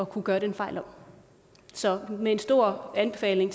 kunne gøre den fejl om så med en stor anbefaling